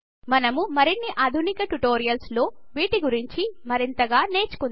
మనం మరిన్ని ఆధునిక ట్యుటోరియల్స్ లో వీటిగురించి మరింతగా నేర్చుకుందాం